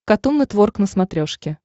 катун нетворк на смотрешке